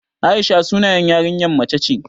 Aisha sunan yarinya mace ce